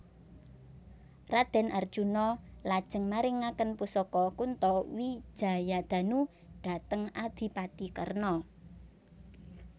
Raden Arjuna lajeng maringaken pusaka Kunto Wijayadanu dhateng Adipati Karna